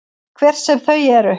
Hver sem þau eru.